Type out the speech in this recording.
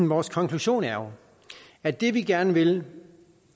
vores konklusion er at det vi gerne vil